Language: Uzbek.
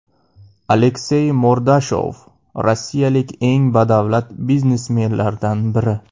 Aleksey Mordashov rossiyalik eng badavlat biznesmenlardan biri.